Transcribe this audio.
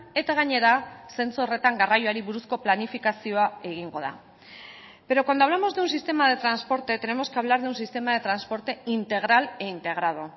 eta gainera zentzu horretan garraioari buruzko planifikazioa egingo da pero cuando hablamos de un sistema de transporte tenemos que hablar de un sistema de transporte integral e integrado